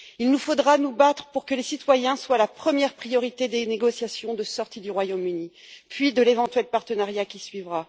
Il nous faudra nous battre pour que les citoyens soient la première priorité des négociations de sortie du Royaume Uni, puis de l'éventuel partenariat qui suivra.